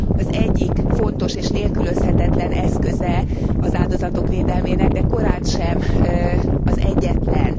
az egyik fontos és nélkülözhetetlen eszköze az áldozatok védelmének, de korántsem az egyetlen.